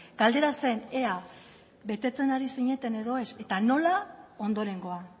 galdera zen ea betetzen ari zineten edo ez eta nola ondorengoa